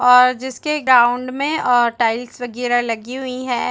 और जिसके ग्राउंड में आ टाइल्स वगैरह लगी हुई है ।